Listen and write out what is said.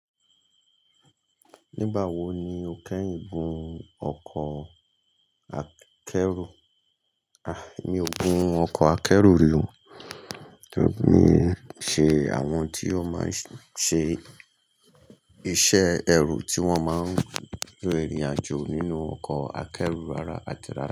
Nígbà wo ni ò kèyin gun ọkọ̀ akẹ́rù, à, mi o gun ọkọ̀ akẹ́rù ri o Ni ṣe àwọn tí yóò máa ṣe iṣẹ́ ẹrù tí wọ́n máa ń rí ìrìn àjò nínú ọkọ̀ akẹ́rù ara ti ara.